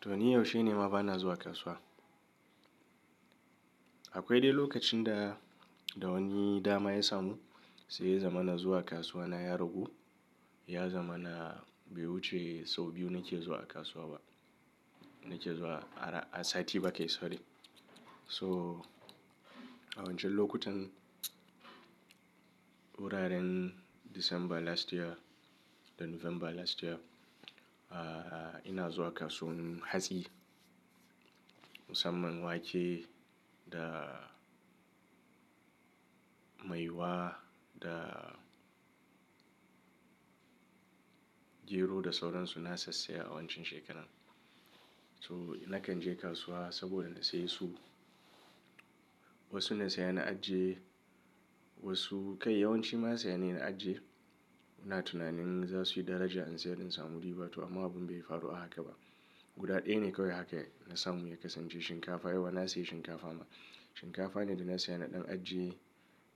To, ni yaushe ne ma bana zuwa kasuwa? Akwai dai lokacin da-- da wani dama ya samu, sai ya zama na zuwa kasuwa na ya ragu, Ya zama na bai wuce sau biyu nake zuwa kasuwa ba. Nake zuwa a, a sati ba kai sorry, to, a wancan lokutan, wuraren December last year, da November last year, ah ina zuwa kasuwan hatsi, Musamman wake da maiwa da, gero da sauran su, na sassaya a wancan shekaran. To, nakan je kasuwa saboda na saye su. Wasu na saya na ajiye, wasu kai yawanci ma saya nayi na ajiye. Ina tunanin za su yi daraja in sayar in samu riba, to amma abun bai faru a haka ba. Guda ɗaya ne kawai haka na samu ya kasance shinkafa, Yawwa na siya shinkafa ma. Shinkafa ne da na saya na ɗan ajiye,